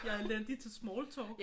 Jeg er elendig til smalltalk